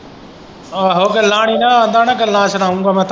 ਆਹੋ ਗੱਲਾਂ ਨਈ ਨਾ ਆਖਦਾ ਹੋਣਾ ਗੱਲਾਂ ਸੁਣਾਊਗਾ ਮੈਂ ਤੁਹਾਨੂੰ।